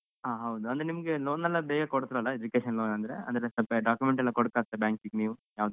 ಹ ಹೌದು ಅಂದ್ರೆ ನಿಮ್ಗೆ loan ಎಲ್ಲ ಬೇಗ ಕೋಡ್ತ್ರಲ್ಲ education loan ಅಂದ್ರೆ, ಅಂದ್ರೆ ಸ್ವಲ್ಪ document ಎಲ್ಲ ಕೊಡ್ಕಗ್ತದ bank ಗೆ ನೀವು ಯಾವುದಾದ್ರೂ.